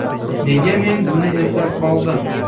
Nega men buni eslab qoldim?